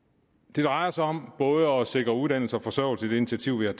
det drejer sig om både at sikre uddannelse og forsørgelse i det initiativ vi